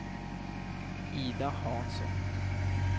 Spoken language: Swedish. Ida Hansson